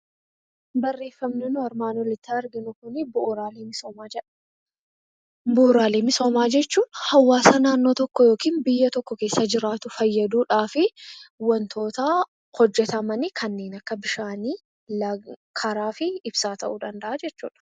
Barreeffamni nuyi armaan olitti arginu kuni 'Bu'uraalee misoomaa' jedha. Bu'uraalee misoomaa jechuun hawaasaa naannoo tokkoo yookiin biyya tokko keessa jiraatu fayyaduu dhaaf wantoota hojjetaman kanneen akka Bishaanii, Karaa fi Ibsaa ta'uu danda'a jechuu dha.